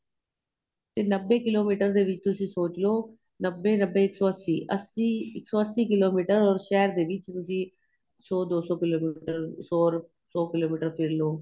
ਤੇ ਨੱਬੇ ਕਿਲੋਮੀਟਰ ਦੇ ਵਿੱਚ ਤੁਸੀਂ ਸੋਚਲੋ ਨੱਬੇ ਨੱਬੇ ਇੱਕ ਸ਼ੋ ਅੱਸੀ ਅੱਸੀ ਇੱਕ ਸ਼ੋ ਅੱਸੀ ਕਿਲੋਮੀਟਰ ਔਰ ਸ਼ਹਿਰ ਦੇ ਵਿੱਚ ਅਸੀਂ ਸ਼ੋ ਦੋ ਸ਼ੋ ਕਿਲੋਮੀਟਰ ਸ਼ੋ ਕਿਲੋਮੀਟਰ ਫ਼ਿਰ ਲਵੋ